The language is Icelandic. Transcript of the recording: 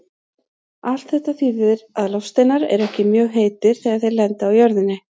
Allt þetta þýðir að loftsteinar eru ekki mjög heitir þegar þeir lenda á jörðinni.